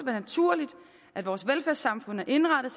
og naturligt at vores velfærdssamfund er indrettet